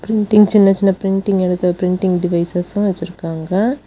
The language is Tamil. இங்க் சின்ன சின்ன பிரின்டிங் எழுது பிரின்டிங் டிவைய்ஸ்லாம் வெச்சிருக்காங்க.